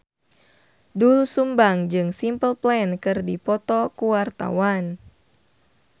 Doel Sumbang jeung Simple Plan keur dipoto ku wartawan